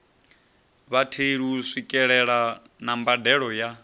vhatheli u swikelela mbadelo ya